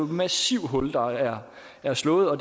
et massivt hul der er er slået og